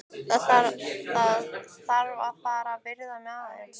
Þarf að fara að viðra mig aðeins.